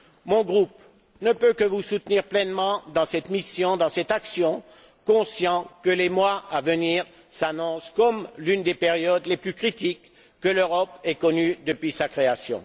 Mon groupe ne peut que vous soutenir pleinement dans cette mission, dans cette action, conscient que les mois à venir s'annoncent comme l'une des périodes les plus critiques que l'Europe ait connues depuis sa création.